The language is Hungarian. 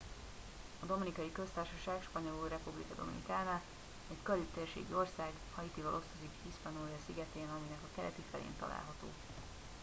a dominikai köztársaság spanyolul: república dominicana egy karib-térségi ország haitival osztozik hispaniola-szigetén aminek a keleti felén található